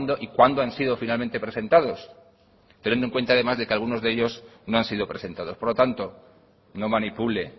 y cuándo han sido finalmente presentados teniendo en cuenta además de que algunos de ellos no han sido presentados por lo tanto no manipule